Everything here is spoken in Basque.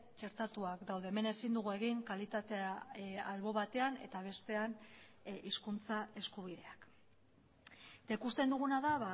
txertatuak daude hemen ezin dugu egin kalitatea albo batean eta bestean hizkuntza eskubideak eta ikusten duguna da